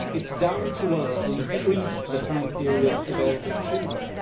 It is down to us to increase the time period available to them.